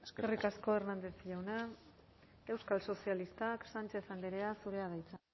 eskerrik asko eskerrik asko hernández jauna euskal sozialistak sánchez andrea zurea da hitza